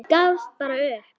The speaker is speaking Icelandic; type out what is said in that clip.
Ég gafst bara upp.